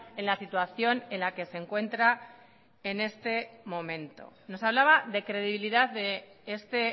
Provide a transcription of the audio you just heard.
en la situación en la que se encuentra en este momento nos hablaba de credibilidad de este